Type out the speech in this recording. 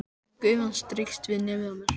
Gufan strýkst við nefið á mér.